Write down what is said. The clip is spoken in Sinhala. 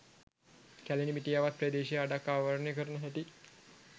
කැලණි මිටියාවත් ප්‍රදේශය අඩක් ආවරණය කරන හැටි.